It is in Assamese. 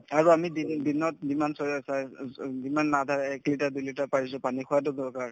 আৰু আমি দি দিনত যিমান যিমান আধা এক liter দুই liter পাৰিছো পানী খোৱাতো দৰকাৰ